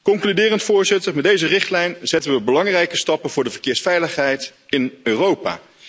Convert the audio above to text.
Concluderend met deze richtlijn zetten we belangrijke stappen voor de verkeersveiligheid in Europa.